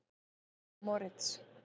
Moritz